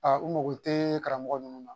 Aa u mago tɛ karamɔgɔ ninnu na